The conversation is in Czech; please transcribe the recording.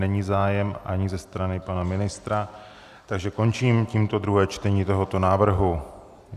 Není zájem ani ze strany pana ministra, takže končím tímto druhé čtení tohoto návrhu.